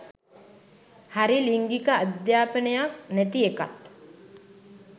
හරි ලිංගික අධ්‍යපනයක් නැති එකත්